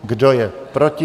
Kdo je proti?